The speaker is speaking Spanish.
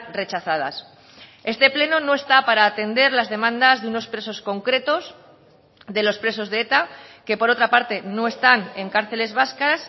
rechazadas este pleno no está para atender las demandas de unos presos concretos de los presos de eta que por otra parte no están en cárceles vascas